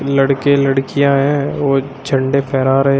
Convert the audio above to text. लड़के लड़कियां हैं और झंडे फहरा रहे--